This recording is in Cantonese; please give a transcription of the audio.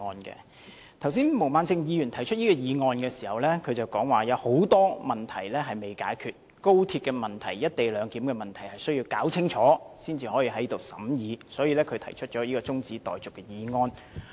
剛才毛孟靜議員提出議案時表示，有很多問題未解決，高鐵問題和"一地兩檢"的問題需要先弄清楚才能在立法會審議，所以她提出中止待續的議案。